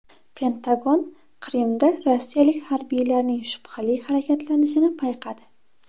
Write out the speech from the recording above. Pentagon Qrimda rossiyalik harbiylarning shubhali harakatlanishini payqadi.